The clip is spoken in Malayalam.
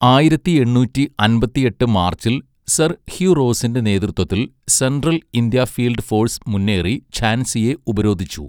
ആയിരത്തിഎണ്ണൂറ്റിഅൻപതിഎട്ട് മാർച്ചിൽ, സർ ഹ്യൂ റോസിന്റെ നേതൃത്വത്തിൽ സെൻട്രൽ ഇന്ത്യ ഫീൽഡ് ഫോഴ്സ് മുന്നേറി, ഝാൻസിയെ ഉപരോധിച്ചു.